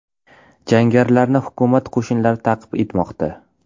Jangarilarni hukumat qo‘shinlari ta’qib etmoqda.